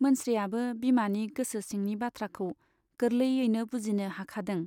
मोनस्रियाबो बिमानि गोसो सिंनि बाथ्राखौ गोरलैयैनो बुजिनो हाखादों।